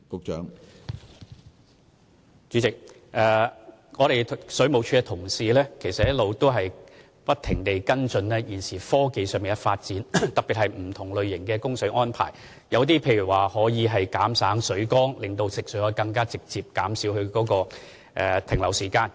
主席，水務署的同事一直不停跟進現時科技上的發展，特別是不同類型的供水安排，例如減省水缸，令食水供應可以更為直接，從而減少食水停留在水管的時間。